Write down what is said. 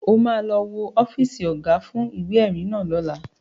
O ma lọ wo ọ́fíìsì Ọ̀gá fún ìwé-ẹ̀rí náà lọ́la